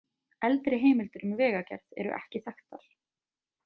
Eldri heimildir um vegagerð eru ekki þekktar.